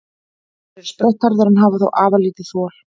Þeir eru sprettharðir en hafa þó afar lítið þol.